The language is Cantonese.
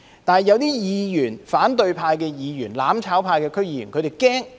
為何反對派議員、"攬炒派"區議員會害怕？